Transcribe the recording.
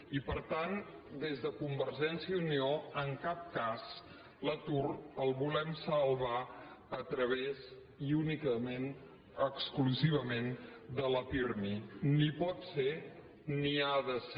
i per tant des de convergència i unió en cap cas l’atur el volem salvar a través i únicament exclusivament de la pirmi ni pot ser ni ha de ser